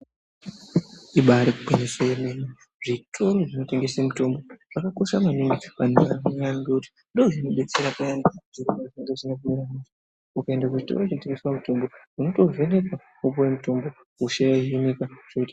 Ibari gwinyiso remene zvitoro zvinotengesa mitombo zvakakosha maningi ngekuti ndoozvinodetsera payani ukaenda kuchitoro chinotengesa mitombo unotovhenekwa wopuwa mutombo.